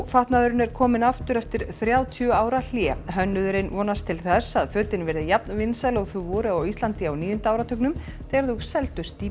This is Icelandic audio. fatnaðurinn er kominn aftur eftir þrjátíu ára hlé hönnuðurinn vonast til þess að fötin verði jafnvinsæl og þau voru á Íslandi á níunda áratugnum þegar þau seldust í